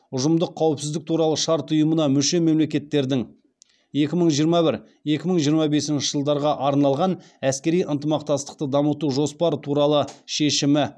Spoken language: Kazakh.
ұжымдық қауіпсіздік туралы шарт ұйымына мүше мемлекеттердің екі мың жиырма бір екі мың жиырма бесінші жылдарға арналған әскери ынтымақтастықты дамыту жоспары туралы шешімі